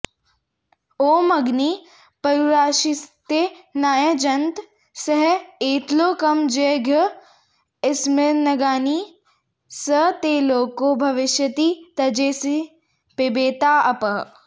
ॐ अग्निः पशुरासीत्तेनायजन्त स एतलोकमजयद्यस्मिन्नग्निः स ते लोको भविष्यति तञ्जेष्यसि पिबैता अपः